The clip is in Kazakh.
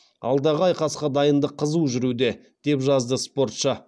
алдағы айқасқа дайындық қызу жүруде деп жазды спортшы